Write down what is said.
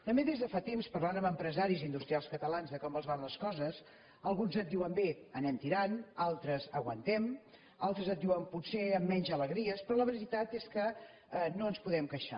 també des de fa temps parlant amb empresaris i industrials catalans de com els van les coses alguns et diuen bé anem tirant altres aguantem altres et diuen potser amb menys alegries però la veritat és que no ens podem queixar